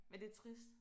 Men det trist